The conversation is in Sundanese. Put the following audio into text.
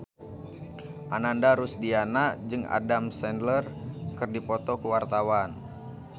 Ananda Rusdiana jeung Adam Sandler keur dipoto ku wartawan